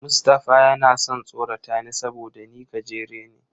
Mustapha yana son tsorata ni saboda ni gajere ne.